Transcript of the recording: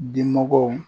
Dimɔgɔw